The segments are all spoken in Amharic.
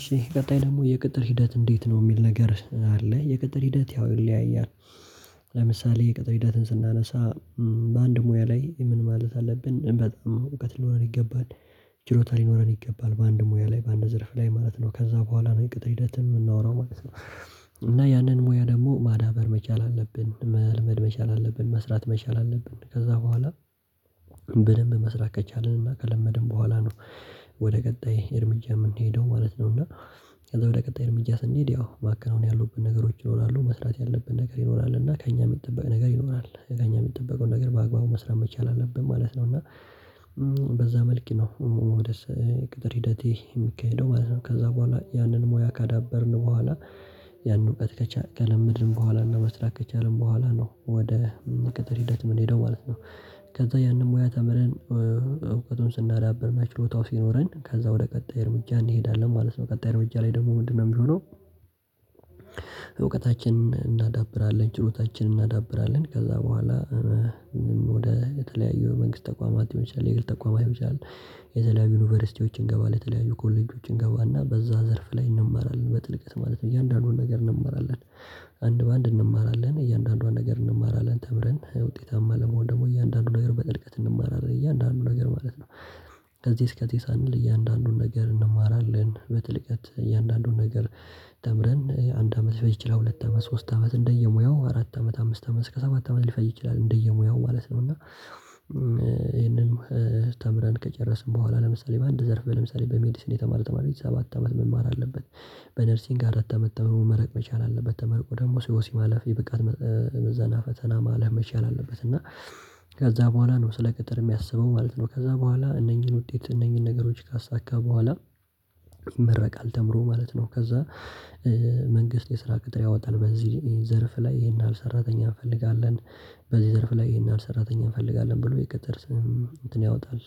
እሺ ቀጣይ ደግሞ የቅጥር ሂደት እንዴት ነው? የሚል ነገር አለ የቅጥር ሂደት ያው ይለያያል። ለምሳሌ የቅጥር ሂደትን ስናነሳ በአንድ ሙያ ላይ ምን ማለት አለብን በጣም እውቀት ሊኖረን ይገባል። ችሎታ ሊኖረን ይገባል በአንድ ሙያ ላይ በአንድ ዘርፍ ላይ ማለት ነው ከዛ በኋላ ነው ቅጥር ሂደትን የምናወራው ማለት ነው። እና ያንን ሙያ ደግሞ ማዳበር መቻል አለብን መልመድ መቻል አለብን መስራት መቻል አለብን ከዛ በኋላ በደንብ መስራት ከቻልንና ከለመድን በኋላ ነው። ወደ ቀጣይ እርምጃ የምንሄደው ማለት ነው። እና ከዛ ወደ ቀጣይ እርምጃ ስንሄድ ያው ማከናወን ያሉብን ነገሮች ይኖራሉ መስራት ያለብን ነገር ይኖራል እና ከእኛም የጠበቀ ነገር ይኖራል ከእኛ የሚጠበቀው ነገር በአግባቡ መስራት መቻል አለብን ማለት ነው። እና በዛ መልክ ነው ወደ ቅጥር ሂደቴ የሚካሄደው ማለት ነው። ከዛ በኋላ ያንን ሙያ ካዳበርን በኋላ ያንን እውቀት ከለመድን በኋላ እና መስራት ከቻልን በኋላ ነው ወደ ቅጥር ሂደት የምንሄደው ማለት ነው። ከዛ ያንን ሙያ ተምረን እውቀቱን ስናዳብርና ችሎታው ሲኖረን ከዛ ወደ ቀጣይ እርምጃ እንሄዳለን ማለት ነው። ቀጣይ ርምጃ ላይ ደግሞ ምንድነው የሚሆነው? እውቀታችንን እናዳብራለን ችሎታችንን እናዳብራለን ከዛ በኋላ የተለያዩ የመንግስት ተቋማት ይሆናል የግል ተቋማት ይሆናል። የተለያዩ ዩኒቨርሲቲዎች ልንገባ ለተለያዩ ኮሌጆችን እንገባና በዛ ዘርፍ ላይ እንማራለን በጥልቀት ማለት ነው እያንዳንዱን ነገር እንማራለን አንድ በአንድ እንማራለን እያንዳንዷን ነገር እንማራለን ተምረን ውጤታማ ለመሆን ደግሞ እያንዳንዱ ነገር በጥልቀት እንማራለን እያንዳንዱ ነገር ማለት ነው። ከዚህ እስከዚህ ሳንል እያንዳንዱን ነገር እንማራለን በጥልቀት እያንዳንዱን ነገር ተምረን አንድ አመት ሊፈጅ ይችላል ሁለት አመት ሶስት አመት እንደየሙያው አራት አመት አምስት አመት እስከ ሰባት አመት ሊፈጅ ይችላል እንደየሙያው ማለት ነው። እና ይሄንንም ተምረን ከጨረስን በኋላ ለምሳሌ በአንድ ዘርፍ ለምሳሌ በሜዲስን የተማረ ተማሪ ሰባት አመት መማር አለበት በነርሲንግ አራት አመት ተምሮ መመረቅ መቻል አለበት ተመርቆ ደግሞ ሲወሲም ማለፍ የብቃት ምዘና ፈተና ማለፍ መቻል አለበት። እና ከዛ በኋላ ነው ስለ ቅጥር የሚያስበው ማለት ነው ከዛ በኋላ እነኚህን ውጤት እነኚህን ነገሮች ካሳካ በኋላ ይመረቃል ተምሮ ማለት ነው። ከዛ መንግስት የስራ ቅጥር ያወጣል በዚህ ዘርፍ ላይ ይሄን ያህል ሰራተኛ እንፈልጋለን በዚህ ዘርፍ ላይ ይሄን ያህል ሰራተኛ እንፈልጋለን ብሎ የቅጥር ስም እንትን ያወጣል።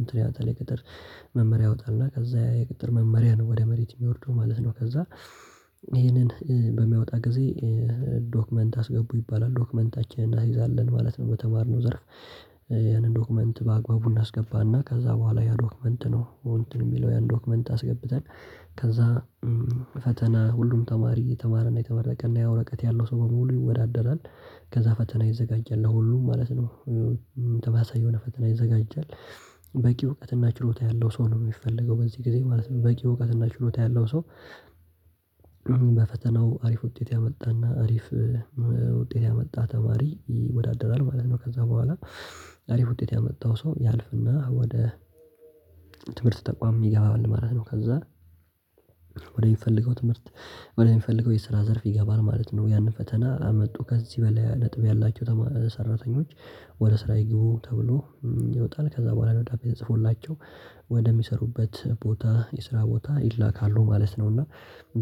እንትን ያወጣል የቅጥር መመሪያ ያወጣና ከዛ የቅጥር መመሪያ ነው ወደ መሬት የሚወርደው ማለት ነው። ከዛ ይሄንን በሚያወጣ ጊዜ ዶክመንት አስገቡ ይባላል ዶክመንታችንን እናስይዛለን ማለት ነው በተማርነው ዘርፍ ያንን ዶክመንት በአግባቡ እናስገባና ከዛ በኋላ ያ ዶክመንት ነው እንትን የሚለው ያን ዶክመንት አስገብተን ከዛ ፈተና ሁሉም ተማሪ የተማረና የተመረቀና ያ ወረቀት ያለው ሰው በሙሉ ይወዳደራል። ከዛ ፈተና ይዘጋጃል ለሁሉም ማለት ነው የሆነ ፈተና ይዘጋጃል በቂ እውቀትና ችሎታ ያለው ሰው ነው የሚፈልገው በዚህ ጊዜ ማለት ነው በቂ እውቀትና ችሎታ ያለው ሰው በፈተናው አሪፍ ውጤት ያመጣና አሪፍ ውጤት ያመጣ ተማሪ ይወዳደራል ማለት ነው። ከዛ በኋላ አሪፍ ውጤት ያመጣው ሰው ያልፍና ወደ ትምህርት ተቋም ይገባል ማለት ነው። ከዛ ወደሚፈልገው ትምህርት ወደሚፈልገው የስራ ዘርፍ ይገባል ማለት ነው። ያንን ፈተና አመጡ ከዚህ በላይ ነጥብ ያላቸው ሰራተኞች ወደ ስራ ይግቡ ተብሎ ይወጣል ከዛ በኋላ ደብዳቤ ተጽፎላቸው ወደሚሠሩበት ቦታ የስራ ቦታ ይላካሉ ማለት ነው። እና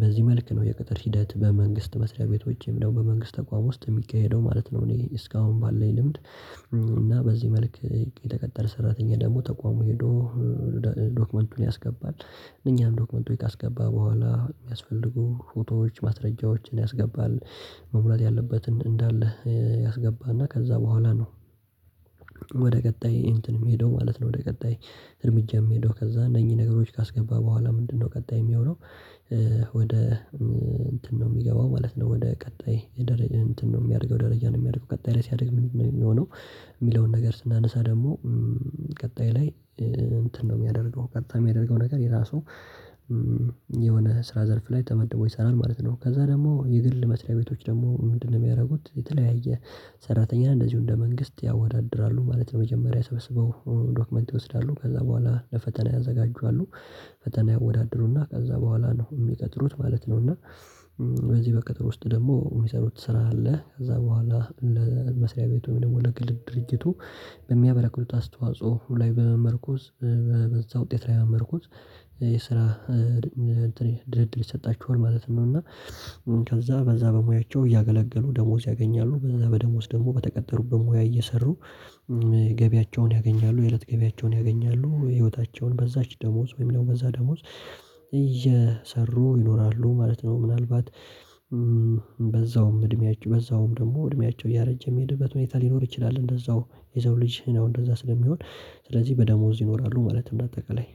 በዚህ መልክ ነው የቅጥር ሂደት በመንግስት መስሪያ ቤቶችም በመንግስት ተቋም ውስጥ የሚካሄደው ማለት ነው። እኔ እስካሁን ባለኝ ልምድ እና በዚህ መልክ የተቀጠረ ሰራተኛ ደግሞ ተቋሙ ሄዶ ዶክመንቱን ያስገባል እኛም ዶክመንት ካስገባ በኋላ የሚያስፈልጉ ፎቶዎች ማስረጃዎችን ያስገባል መሙላት ያለበት እንዳለ ያስገባና ከዛ በኋላ ነው። ቀጣይ እንትን የምሄደው ማለት ነው ወደ ቀጣይ እርምጃ የምሄደው ከዛ እነኚህ ነገሮች ካስገባ በኋላ ምንድነው ቀጣይ የሚሆነው? ወደ እንትን ነው የሚገባው ማለት ነው ወደ ቀጣይ የደረጃ እንትን ነው የሚያደርገው ደረጃ ነው የሚያደርገው ቀጣይ ላይ ሲያደርግ ነው የሚሆነው የሚለውን ነገር ስናነሳ ደግሞ ቀጣይ ላይ እንትን ነው የሚያደርገው ቀጣይ የሚያደርገው ነገር የራሱ የሆነ ስራ ዘርፍ ላይ ተመድቦ ይሰራል ማለት ነው። ከዛ ደግሞ የግል መስሪያ ቤቶች ደግሞ ምንድነው? የሚያደርጉት የተለያየ ሰራተኛ እንደዚሁ እንደ መንግስት ያወዳድራሉ ማለት ለመጀመሪያ ሰበስበው ዶክመንት ይወስዳሉ ከዛ በኋላ ለፈተና ያዘጋጃሉ ፈተና ያወዳድሩና ከዛ በኋላ ነው የሚቀጥሩት ማለት ነው። እና በዚህ በቅጥር ውስጥ ደግሞ የሚሰሩት ስራ አለ ከዛ በኋላ ለመሥሪያ ቤቱ ወይም ደግሞ ለግል ድርጊቱ በሚያበረክቱት አስተዋጽኦ ላይ በመመርኮዝ በዛ ውጤት ላይ መመርኮዝ የስራ ድልድል ይሰጣቸዋል ማለት ነው። እና ከዛ በዛ በሙያቸው እያገለገሉ ደሞዝ ያገኛሉ በዛ በደሞዝ ደግሞ በተቀጠሩበት ሙያ እየሰሩ ገቢያቸውን ያገኛሉ የእለት ገቢያቸውን ያገኛሉ ሕይወታቸውን በዛች ደሞዝ ወይም ደግሞ በዛ ደሞዝ እየሰሩ ይኖራሉ ማለት ነው። ምናልባት በዛውም እድሜያቸው በዛውም ደግሞ እድሜያቸው እያረጀ የሚሄድበት ሁኔታ ሊኖር ይችላል። እንደዛው የዛው ልጅ ነው እንደዛ ስለሚሆን ስለዚህ በደሞዝ ይኖራሉ ማለት እንደ አጠቃላይ።